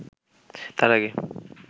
তার আগে